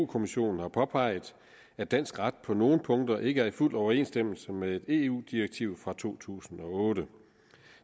kommissionen har påpeget at dansk ret på nogle punkter ikke er i fuld overensstemmelse med et eu direktiv fra to tusind og otte